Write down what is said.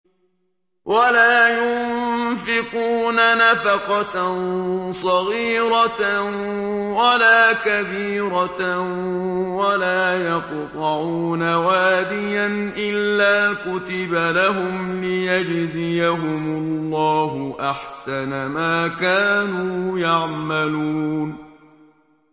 وَلَا يُنفِقُونَ نَفَقَةً صَغِيرَةً وَلَا كَبِيرَةً وَلَا يَقْطَعُونَ وَادِيًا إِلَّا كُتِبَ لَهُمْ لِيَجْزِيَهُمُ اللَّهُ أَحْسَنَ مَا كَانُوا يَعْمَلُونَ